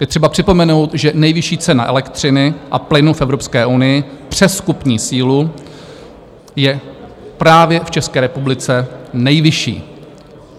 Je třeba připomenout, že nejvyšší cena elektřiny a plynu v Evropské unii přes kupní sílu je právě v České republice nejvyšší.